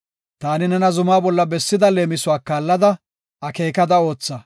Taani nena zumaa bolla bessida leemisuwa kaallada, akeekada ootha.”